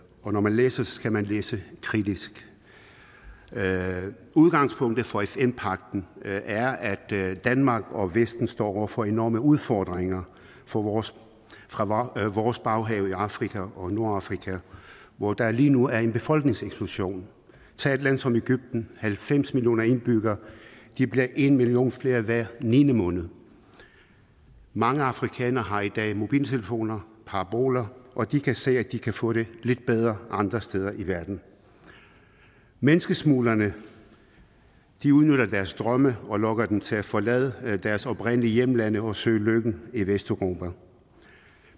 og når man læser det skal man læse det kritisk udgangspunktet for fn pagten er at danmark og vesten står over for enorme udfordringer fra vores fra vores baghave i afrika og nordafrika hvor der lige nu er en befolkningseksplosion tag et land som egypten halvfems millioner indbyggere og de bliver en million flere hver niende måned mange afrikanere har i dag mobiltelefoner og paraboler og de kan se at de kan få det lidt bedre andre steder i verden menneskesmuglerne udnytter deres drømme og lokker dem til at forlade deres oprindelige hjemlande og søge lykken i vesteuropa